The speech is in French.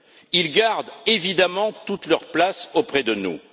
Ils gardent évidemment toute leur place auprès de nous.